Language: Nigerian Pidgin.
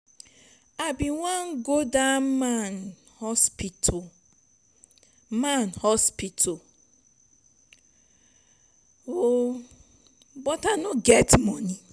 i bin wan go that man hospital man hospital oo but i no get money.